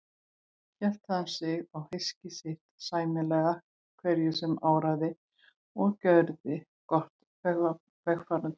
Hélt hann sig og hyski sitt sæmilega hverju sem áraði og gjörði gott vegfarendum.